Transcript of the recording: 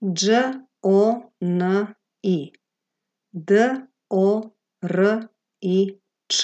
Đ O N I, D O R I Č;